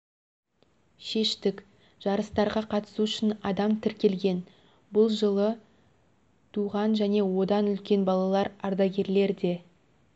шештік жарыстарға қатысу үшін адам тіркелген бұл жылы туған және одан үлкен балалар ардагерлер де